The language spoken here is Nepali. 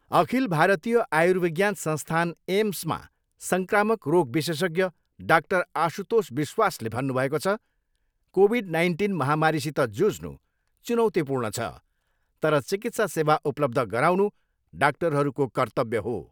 अखिल भारतीय आर्युविज्ञान संस्थान एम्समा सङ्क्रामक रोग विशेषज्ञ डाक्टर आशुतोष विश्वासले भन्नुभएको छ, कोभिड नाइन्टिन महामारीसित जुझ्नु चुनौतीपूर्ण छ तर चिकित्सा सेवा उपलब्ध गराउनु डाक्टरहरूको कर्त्तव्य हो।